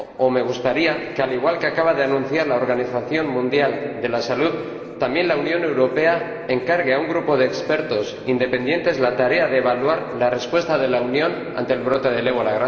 Me gustaría que, al igual que acaba de anunciar la Organización Mundial de la Salud, también la Unión Europea encargue a un grupo de expertos independientes la tarea de evaluar la respuesta de la Unión ante el brote del ébola.